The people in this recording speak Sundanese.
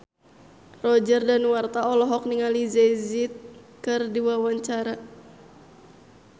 Roger Danuarta olohok ningali Jay Z keur diwawancara